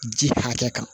Ji hakɛ kan